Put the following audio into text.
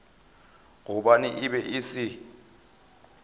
gobane e be e se